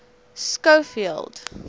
schofield